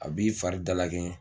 A b'i fari dala kɛɲɛ